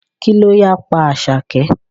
Kí ló ya pa Àṣàkẹ́?